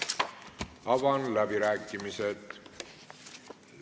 Avan läbirääkimised.